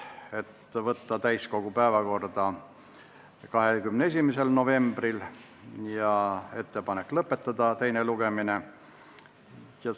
Otsustati teha ettepanek saata eelnõu täiskogu päevakorda 21. novembriks ja tehti ettepanek lõpetada teine lugemine.